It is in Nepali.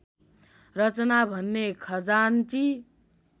रचना भने खजान्ची